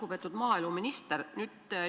Lugupeetud maaeluminister!